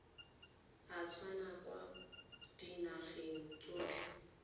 a tswang kwa dinageng tsotlhe